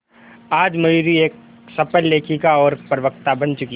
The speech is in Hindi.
आज मयूरी एक सफल लेखिका और प्रवक्ता बन चुकी है